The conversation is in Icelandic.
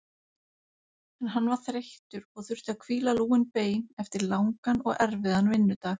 En hann var þreyttur og þurfti að hvíla lúin bein eftir langan og erfiðan vinnudag.